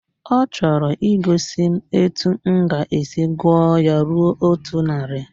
Ọ chọrọ igosi m etu m ga-esi gụọ ya ruo otu narị